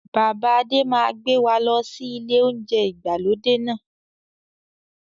Bàbá Adé máa gbé wá lọ sí ilé oúnjẹ ìgbàlódé náà